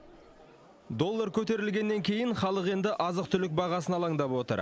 доллар көтерілгеннен кейін халық енді азық түлік бағасына алаңдап отыр